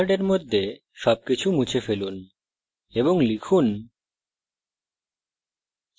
main মেথডের মধ্যে সবকিছু মুছে ফেলুন এবং লিখুন